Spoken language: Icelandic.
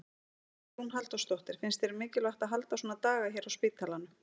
Hugrún Halldórsdóttir: Finnst þér mikilvægt að halda svona daga hérna á spítalanum?